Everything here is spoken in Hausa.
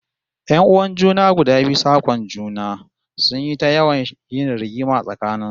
Yan'uwan junan guda biyu sak'on juna, sun yi ta yawan yin rigima tsakanin su